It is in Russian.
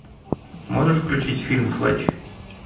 можешь включить фильм флетч